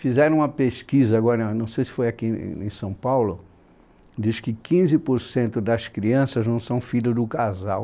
Fizeram uma pesquisa agora, não sei se foi aqui em São Paulo, diz que quinze porcento das crianças não são filhos do casal.